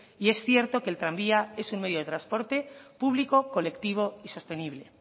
y es cierto que el tranvía es un medio de transporte público colectivo y sostenible